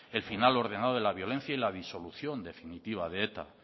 el final ordenado de la violencia y la disolución definitiva de eta